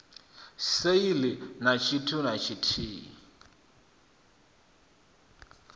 sale na tshithu na tshithihi